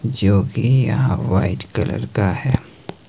जो कि यहां व्हाईट कलर का है।